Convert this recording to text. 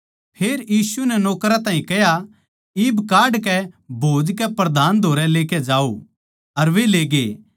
फेर यीशु नै नौकरां ताहीं कह्या इब काडकै भोज कै प्रधान धोरै ले जाओ अर वे लेगे